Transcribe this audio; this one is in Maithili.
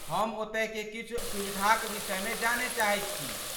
हम ओतयके किछु सुविधाक विषयमे जानय चाहैत छी।